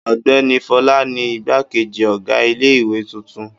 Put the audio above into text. Ọ̀gbẹ́ni Fọlá ni igbákejì ọ̀gá ilé-ìwé tuntun.